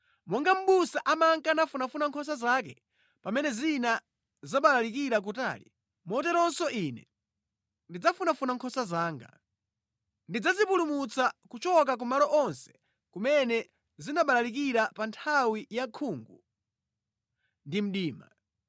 Monga mʼbusa amanka nafunafuna nkhosa zake pamene zina zabalalikira kutali, moteronso Ine ndidzafunafuna nkhosa zanga. Ndidzazipulumutsa kuchoka kumalo onse kumene zinabalalikira pa nthawi yankhungu ndi mdima.